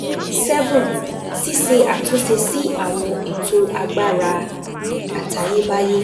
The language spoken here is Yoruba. seven Ṣíṣe àtúnṣe sí àwọn ètò agbára àtayébáyé